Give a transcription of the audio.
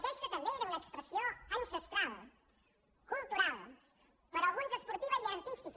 aquesta també era una expressió ancestral cultural per a alguns esportiva i artística